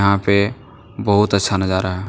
यहां पे बहुत अच्छा नजारा है।